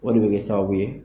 O de bɛ kɛ sababu ye